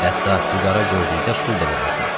Hətta füqara gördükdə pul da verərdi.